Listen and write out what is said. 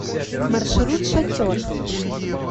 маршрут шатер